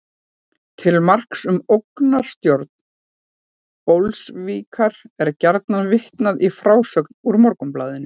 Til marks um ógnarstjórn bolsévíka var gjarnan vitnað í frásögn úr Morgunblaðinu.